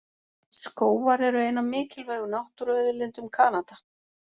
Skógar eru ein af mikilvægu náttúruauðlindum Kanada.